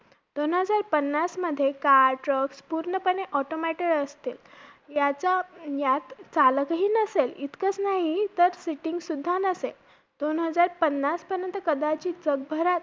आणि मग ते तिथून बोलले की speed पाहिजे कामाला त्याशिवाय मग मी आता job शोधतोय आणि class ला पण जातोय job भेटेपर्यंत.